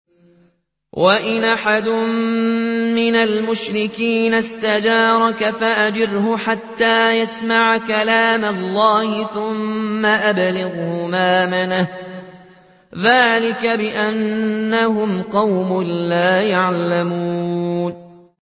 وَإِنْ أَحَدٌ مِّنَ الْمُشْرِكِينَ اسْتَجَارَكَ فَأَجِرْهُ حَتَّىٰ يَسْمَعَ كَلَامَ اللَّهِ ثُمَّ أَبْلِغْهُ مَأْمَنَهُ ۚ ذَٰلِكَ بِأَنَّهُمْ قَوْمٌ لَّا يَعْلَمُونَ